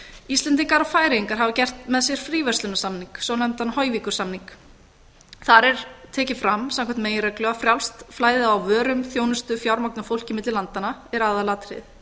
íslendingar og færeyingar hafa gert með sér fríverslunarsamning svonefndan hoyvíkursamning þar er tekið fram samkvæmt meginreglu að frjálst flæði á vörum þjónustu fjármagni og fólki á milli landanna er aðalatriðið